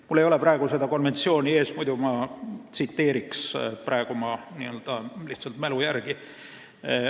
Mul ei ole seda konventsiooni ees, muidu ma tsiteeriks, praegu räägin lihtsalt mälu järgi.